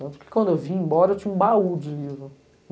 Tanto que quando eu vim embora, eu tinha um baú de livro.